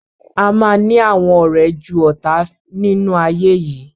Ama ni àwọn ọrẹ jù ọta nínú ayé yìí.